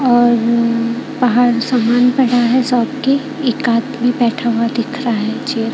और बाहर सामान पड़ा है शॉप की एक आदमी बैठा हुआ दिख रहा चेयर --